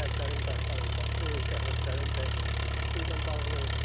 Kəndlərin qaytarılması, sərhədlərin dəqiqləşdirilməsi ilə bağlı.